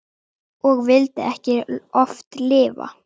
Og vildi oft ekki lifa.